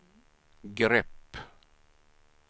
grepp